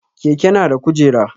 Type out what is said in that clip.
Keke na da kujera